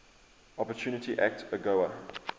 opportunity act agoa